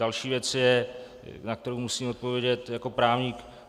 Další věc je, na kterou musím odpovědět jako právník.